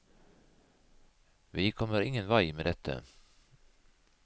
Vi kommer ingen vei med dette!